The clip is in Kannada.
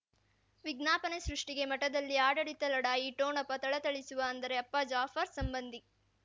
ವಿಜ್ಞಾಪನೆ ಸೃಷ್ಟಿಗೆ ಮಠದಲ್ಲಿ ಆಡಳಿತ ಲಢಾಯಿ ಠೋಣಪ ಥಳಥಳಿಸುವ ಅಂದರೆ ಅಪ್ಪ ಜಾಫರ್ ಸಂಬಂಧಿ